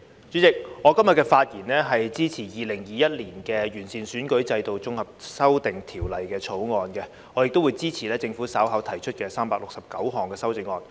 主席，我今天的發言是支持《2021年完善選舉制度條例草案》，我亦會支持政府稍後提出的369項修正案。